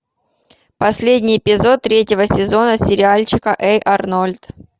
последний эпизод третьего сезона сериальчика эй арнольд